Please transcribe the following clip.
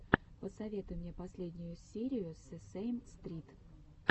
посоветуй мне последнюю серию сесейм стрит